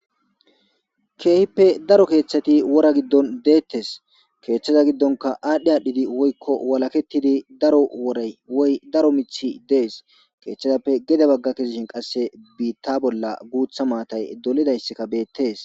Kehippe daro keththati wora gidon dettes kethaza gidonikka adh adhid woyikko walaketidi daro woray woy daro miththi des keththazappe gede baga kezishshin qase bitta bolla guththa maatay dolidayisikka bettes